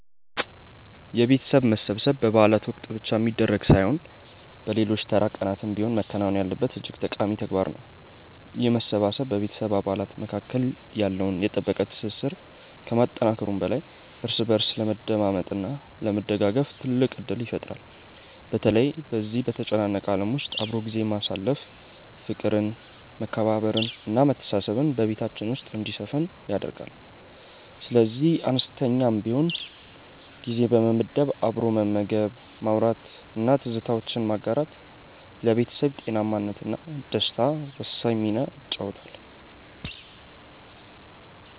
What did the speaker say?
የቤተሰብ መሰብሰብ በበዓላት ወቅት ብቻ የሚደረግ ሳይሆን በሌሎች ተራ ቀናትም ቢሆን መከናወን ያለበት እጅግ ጠቃሚ ተግባር ነው። ይህ መሰባሰብ በቤተሰብ አባላት መካከል ያለውን የጠበቀ ትስስር ከማጠናከሩም በላይ እርስ በእርስ ለመደማመጥ እና ለመደጋገፍ ትልቅ ዕድል ይፈጥራል። በተለይ በዚህ በተጨናነቀ ዓለም ውስጥ አብሮ ጊዜ ማሳለፍ ፍቅርን መከባበርን እና መተሳሰብን በቤታችን ውስጥ እንዲሰፍን ያደርጋል። ስለዚህ አነስተኛም ቢሆን ጊዜ በመመደብ አብሮ መመገብ ማውራት እና ትዝታዎችን ማጋራት ለቤተሰብ ጤናማነት እና ደስታ ወሳኝ ሚና ይጫወታል